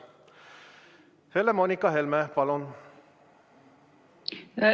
Helle-Moonika Helme, palun!